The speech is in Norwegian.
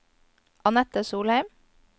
Annette Solheim